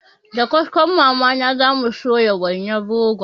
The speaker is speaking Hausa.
Da kaskon mama na zamu soya wainar rogon